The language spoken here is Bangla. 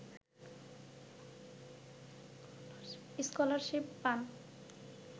স্কলারশিপ পান